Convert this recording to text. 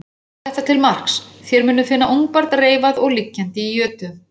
Og hafið þetta til marks: Þér munuð finna ungbarn reifað og liggjandi í jötu.